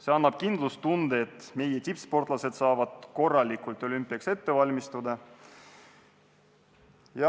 See annab kindlustunde, et meie tippsportlased saavad korralikult olümpiaks valmistuda.